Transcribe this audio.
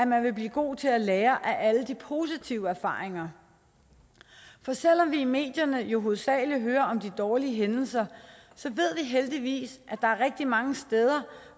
man vil blive god til at lære af alle de positive erfaringer for selv om vi i medierne jo hovedsagelig hører om de dårlige hændelser ved vi heldigvis at der er rigtig mange steder